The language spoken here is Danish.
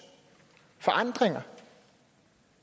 forandringer